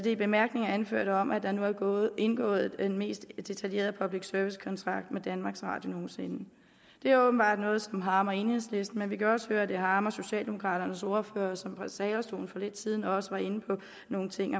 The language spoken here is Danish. i bemærkningerne anførte om at der nu er indgået den mest detaljerede public service kontrakt med danmarks radio det er åbenbart noget som harmer enhedslisten men vi kan også høre at det harmer socialdemokraternes ordfører som fra talerstolen for lidt siden også var inde på nogle ting